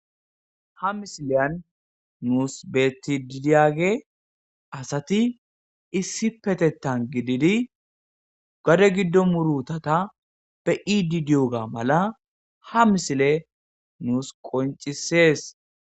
Ha misileni nusi betididayagey asati issipetethan gididi gadegido murutata be7ididogamala asati issipetethan gididi gadegido murutata be7ididoga mala ha misile nusu qoncises